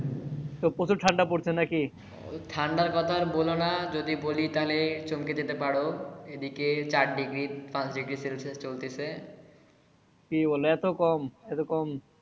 তো প্রচুর ঠান্ডা পড়ছে না কি? ঠান্ডার কথা র বলোনা যদি বলি তাইলে চমকে যেতে পারো এদিকে চার ডিগ্রি পাঁচ ডিগ্রি celsius চলতেছে। কি বোলো এতো কম এতো কম?